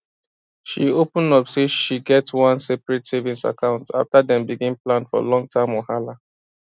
she open up say she get one separate savings account after dem begin plan for long term whahala